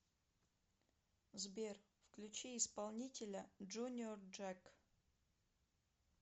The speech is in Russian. сбер включи исполнителя джуниор джек